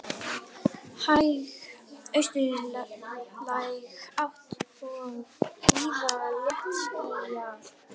Hæg austlæg átt og víða léttskýjað